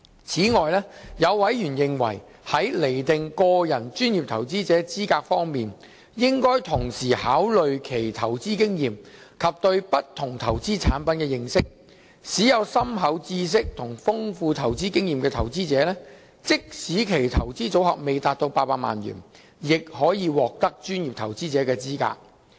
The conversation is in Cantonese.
此外，有委員認為在釐定個人專業投資者資格方面，應同時考慮其投資經驗及對不同投資產品的認識，使有深厚知識及豐富投資經驗的投資者，即使其投資組合未達到800萬元，亦可獲得專業投資者的資格。